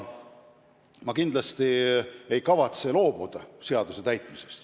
Aga ma kindlasti ei kavatse jättagi seadust täitmata.